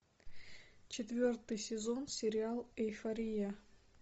четвертый сезон сериал эйфория